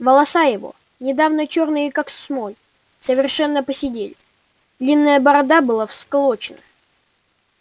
волоса его недавно чёрные как смоль совершенно поседели длинная борода была всклокочена